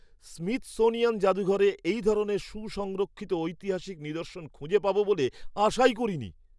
Smithsonian জাদুঘরে এই ধরনের সুসংরক্ষিত ঐতিহাসিক নিদর্শন খুঁজে পাব বলে আশাই করিনি!